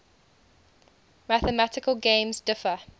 mathematical games differ